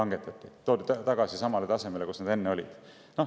Need toodi tagasi samale tasemele, kus nad enne olid.